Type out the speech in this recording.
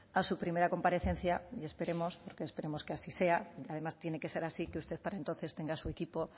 a su primera comparecencia y esperemos porque esperamos que así sea y además tiene que ser así que usted para entonces tenga su equipo